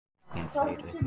Bíllinn flaut uppi